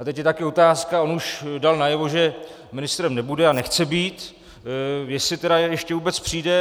A teď je taky otázka - on už dal najevo, že ministrem nebude a nechce být - jestli tedy ještě vůbec přijde.